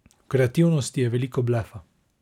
V kreativnosti je veliko blefa.